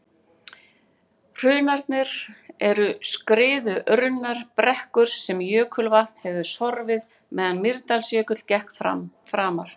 Hrunarnir eru skriðurunnar brekkur sem jökulvatn hefur sorfið meðan Mýrdalsjökull gekk framar.